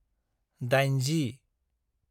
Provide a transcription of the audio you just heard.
80